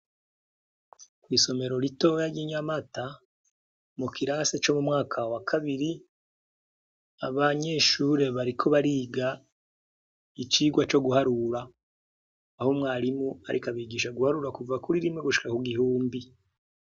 Kw'isomero ritoya ry'i Nyamata mu kirasi co mu mwaka wa kabiri abanyeshure bariko bariga icigwa co guharura aho umwarimu ariko abigisha guharura kuva kuri rimwe gushika ku gihumbi.